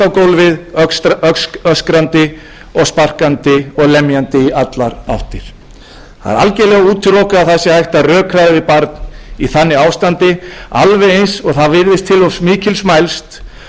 gólfið öskrandi sparkandi og lemjandi í allar áttir það er algerlega útilokað að hægt sé að rökræða við barn í þannig ástandi alveg eins og það virðist til of mikils mælst að fá vitrænar samræður